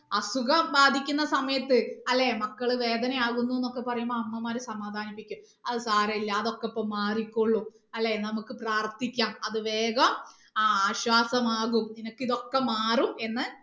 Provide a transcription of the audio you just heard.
അസുഖം ബാധിക്കുന്ന സമയത്ത് അല്ലേ മക്കള് വേദനയാകുന്നു എന്ന് ഒക്കെ പറയുമ്പോ അമ്മമാര് സമാധാനിപ്പിക്കും അത് സാരമില്ല അതൊക്കെ ഇപ്പൊ മാറിക്കൊള്ളും അല്ലെ നമുക്ക് പ്രാർത്ഥിക്കാം അത് വേഗം ആ ആശ്വാസമാകും നിനക്ക് ഇതൊക്കെ മാറും എന്ന്